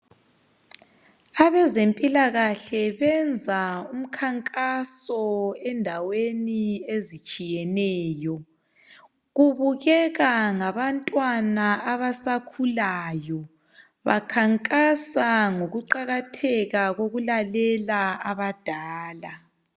Abazempilakahle benza umkhankaso endaweni ezitshiyeneyo. Kubukeka ngabantwana abasakhulayo bakhankasa ngokuqakatheka kokulalela abadala.